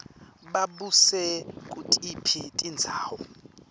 babuse kutiphi tindzawo